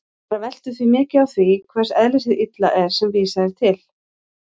Það veltur því mikið á því hvers eðlis hið illa er sem vísað er til.